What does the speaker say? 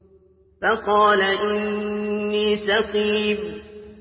فَقَالَ إِنِّي سَقِيمٌ